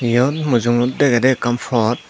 eyot mujung ot degedey ekkan pod.